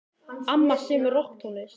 Amma semur rokktónlist.